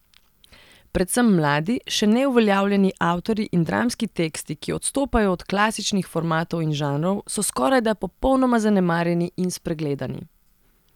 Predvsem mladi, še neuveljavljeni avtorji in dramski teksti, ki odstopajo od klasičnih formatov in žanrov, so skorajda popolnoma zanemarjeni in spregledani.